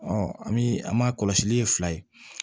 an bi an m'a kɔlɔsili kɛ fila ye